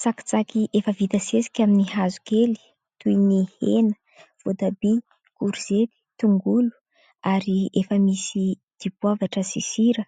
Tsakitsaky efa vita sesika amin'ny hazo kely toy ny : hena voatabia, korzety, tongolo ary efa misy dipoavatra sy sira,